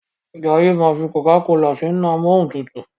Jaiye ma fí cocacola sínú Amóhuntutù.